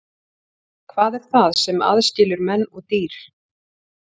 Hvað er það sem aðskilur menn og dýr?